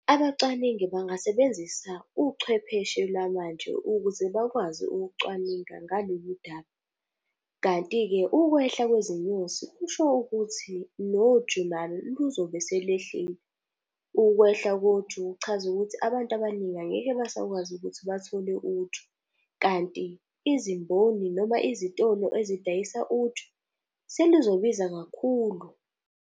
Abacwaningi bangasebenzisa uchwepheshe lwamanje ukuze bakwazi ukucwaninga ngalolu daba. Kanti-ke ukwehla kwezinyosi kusho ukuthi noju nalo luzobe selehlile. Ukwehla koju kuchaza ukuthi abantu abaningi angeke basakwazi ukuthi bathole uju. Kanti izimboni, noma izitolo ezidayisa uju, selizobiza kakhulu.